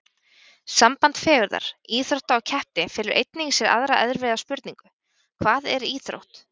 Samband fegurðar, íþrótta og keppni felur einnig í sér aðra erfiða spurningu: Hvað er íþrótt?